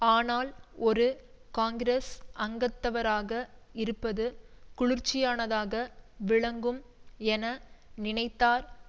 ஆனால் ஒரு காங்கிரஸ் அங்கத்தவராக இருப்பது குளிர்ச்சியானதாக விளங்கும் என நினைத்தார்